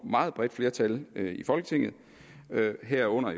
meget bredt flertal i folketinget herunder